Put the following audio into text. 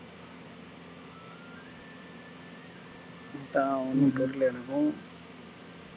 அதான் ஒண்ணும் தெரியல எனக்கும்